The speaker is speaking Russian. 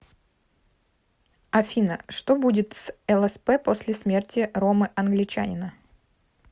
афина что будет с лсп после смерти ромы англичанина